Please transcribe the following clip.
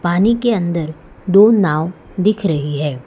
पानी के अंदर दो नाव दिख रही है।